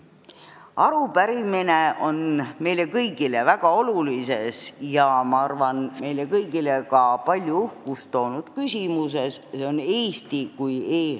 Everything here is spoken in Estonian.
Arupärimine on meile kõigile väga olulises ja, ma arvan, ka palju uhkust toonud küsimuses, see on Eesti kui e-riik.